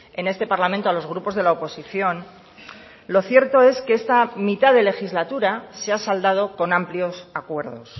en este parlamento a los grupos de la oposición lo cierto es que esta mitad de legislatura se ha saldado con amplios acuerdos